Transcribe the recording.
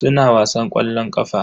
Suna wasan ƙwallon ƙafa.